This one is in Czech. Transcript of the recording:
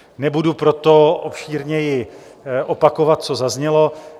Nebudu proto obšírněji opakovat, co zaznělo.